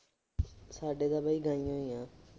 ਸਾਡੇ ਤਾਂ ਬਾਈ ਗਾਈਆਂ ਈ ਆ।